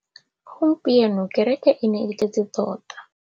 Gompieno kêrêkê e ne e tletse tota.